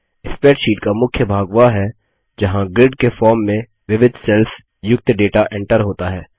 spreadsheet का मुख्य भाग वह है जहाँ ग्रीड के फॉर्म में विविध सेल्स युक्त डेटा एंटर होता है